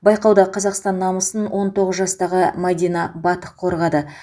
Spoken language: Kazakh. байқауда қазақстан намысын он тоғыз жастағы мәдина батық қорғады